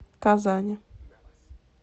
казани